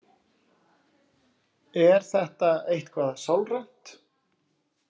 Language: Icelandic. Er þetta eitthvað sálrænt?